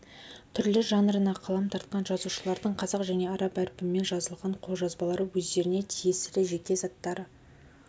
түрлі жанрына қалам тартқан жазушылардың қазақ және араб әрпімен жазылған қолжазбалары өздеріне тиесілі жеке заттары